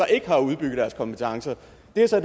der så